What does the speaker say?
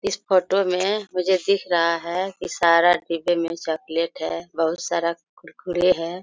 इस फोटो में मुझे दिख रहा है कि सारा डिब्बे में चॉकलेट है बहुत सारा कुरकुरे है।